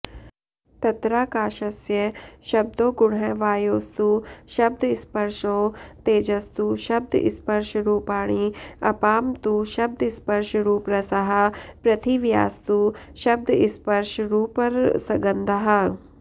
तत्राकाशस्य शब्दो गुणः वायोस्तु शब्दस्पर्शौ तेजसस्तु शब्दस्पर्शरूपाणि अपां तु शब्दस्पर्शरूपरसाः पृथिव्यास्तु शब्दस्पर्शरूपरसगन्धाः